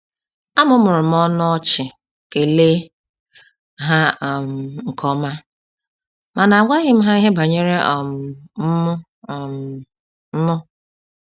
A mụmụrụm ọnụ ọchị kele ha um nkeọma, mana agwaghí m ha ihe banyere um m um m